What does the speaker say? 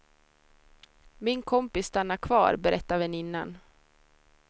Min kompis stannade kvar, berättar väninnan.